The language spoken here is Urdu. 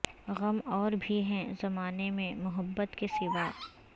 غم اور بھی ہیں زمانے میں محبت کے سوا